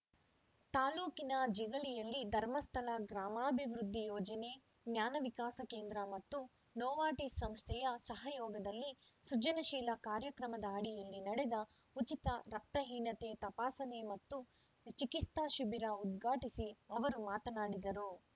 ತಾಲೂಕಿನ ಜಿಗಳಿಯಲ್ಲಿ ಧರ್ಮಸ್ಥಳ ಗ್ರಾಮಾಭಿವೃದ್ಧಿ ಯೋಜನೆ ಜ್ಞಾನವಿಕಾಸ ಕೇಂದ್ರ ಮತ್ತು ನೋವಾರ್ಟಿಸ್‌ ಸಂಸ್ಥೆಯ ಸಹಯೋಗದಲ್ಲಿ ಸೃಜನಶೀಲ ಕಾರ್ಯಕ್ರಮದ ಅಡಿಯಲ್ಲಿ ನಡೆದ ಉಚಿತ ರಕ್ತಹೀನತೆ ತಪಾಸಣೆ ಮತ್ತು ಚಿಕಿತ್ಸಾ ಶಿಬಿರ ಉದ್ಘಾಟಿಸಿ ಅವರು ಮಾತನಾಡಿದರು